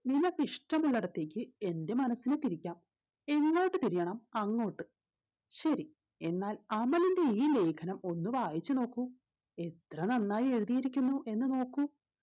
നിനക്ക് ഇഷ്ട്ടമുള്ളടത്തേക്ക് എന്റെ മനസിനെ തിരിക്കാം എങ്ങോട്ട് തിരിയണം അങ്ങോട്ട് ശരി എന്നാൽ അമലിന്റെ ഈ ലേഖനം ഒന്ന് വായിച്ചു നോക്കൂ എത്ര നന്നായി എഴുതിയിരിക്കുന്നു എന്ന് നോക്കൂ